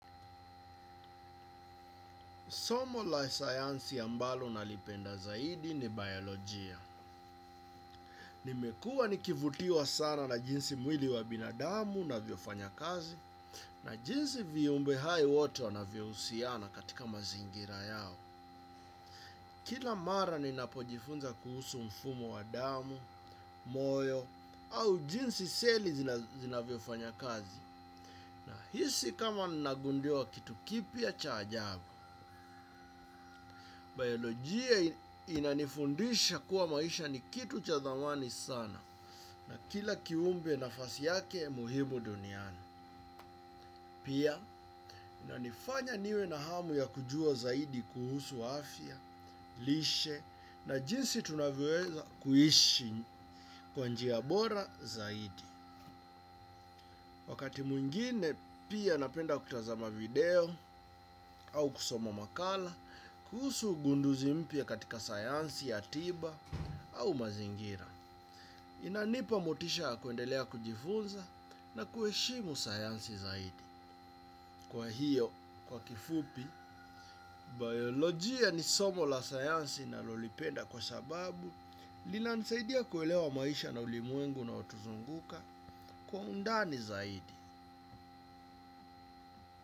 Somo la sayansi ambalo nalipenda zaidi ni bayoloogia, nimekua nikivutiwa sana na jinsi mwili wa binadamu na unavyofanya kazi, na jinsi viumbehai watu wa na vyohusiana katika mazingira yao. Kila mara ni napojifunza kuhusu mfumo wa damu, moyo, au jinsi seli zina vyofanya kazi. Na hisi kama nagundiwa kitu kipi ya chajabu. Biologia inanifundisha kuwa maisha ni kitu cha thamani sana na kila kiumbe nafasi yake muhimu duniani. Pia inanifanya niwe na hamu ya kujua zaidi kuhusu afya, lishe na jinsi tunavyoeza kuhishi kwanji ya bora zaidi. Wakati mwengine, pia napenda kutazama video au kusoma makala, kuhusu ugunduzi mpya katika sayansi ya tiba au mazingira. Inanipa motisha kuendelea kujifunza na kueshimu sayansi zaidi. Kwa hiyo, kwa kifupi, biolojia ni somo la sayansi na lolipenda kwa sababu, lina nisaidia kuelewa maisha na ulimwengu una otuzunguka kwa undani zaidi.